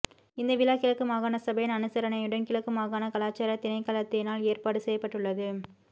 இந்த விழா கிழக்கு மாகாண சபையின் அனுசரணையுடன் கிழக்கு மாகாண கலாசார திணைக்களத்தினால் ஏற்பாடு செய்யப்பட்டுள்ளது